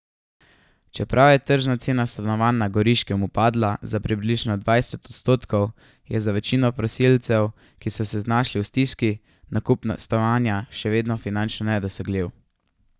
Čeprav je tržna cena stanovanj na Goriškem upadla za približno dvajset odstotkov, je za večino prosilcev, ki so se znašli v stiski, nakup stanovanja še vedno finančno nedosegljiv.